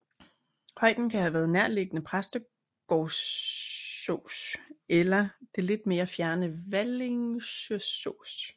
Højden kan have været nærliggende Præstgårdsås eller det lidt mere fjerne Valingeås